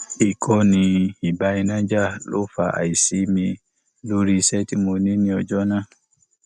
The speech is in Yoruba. ìkọni ìbá iná jà ló fa àìsí mi lórí iṣẹ tí mo ní ní ọjọ náà